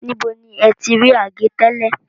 Níbo ni ẹ ti rí àgé tẹ́lẹ̀?